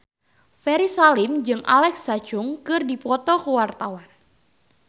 Ferry Salim jeung Alexa Chung keur dipoto ku wartawan